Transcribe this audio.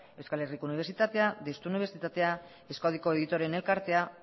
euskal herriko unibertsitatea deustu unibertsitatea euskadiko editoreen elkartea